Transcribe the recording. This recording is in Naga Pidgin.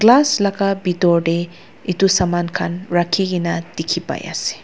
glass laga bitor de etu saman khan rakhi gina dikhi pai ase.